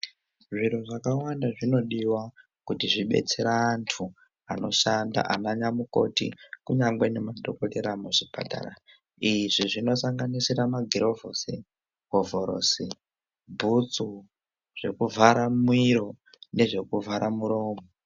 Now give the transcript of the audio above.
Zviro zvakawanda zvinodiwa kuti zvibetsere antu anoshanda ana nyamukoti kunyangwe ne madhokodhera mu zvipatara izvi zvino sanganisira ma girovhosi hovhorosi bhutsu zveku vhara miro nezveku vhara muromo.